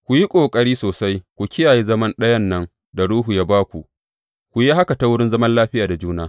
Ku yi ƙoƙari sosai ku kiyaye zaman ɗayan nan da Ruhu ya ba ku, ku yi haka ta wurin zaman lafiya da juna.